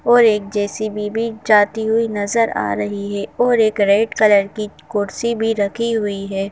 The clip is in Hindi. और एक जे_सी_बी भी जाती हुई नज़र आ रही है और एक रेड कलर की कुर्सी भी रखी हुई है।